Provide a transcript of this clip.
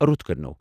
رُت کٔرۍنَو !